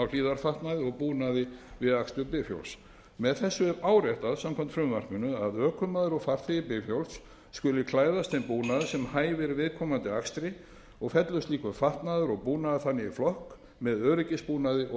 hlífðarfatnaði og búnaði við akstur bifhjóls með þessu er áréttað samkvæmt frumvarpinu að ökumaður og farþegi bifhjóls skuli klæðast þeim búnaði sem hæfir viðkomandi akstri og fellur slíkur fatnaður og búnaður þannig í flokk með öryggisbúnaði og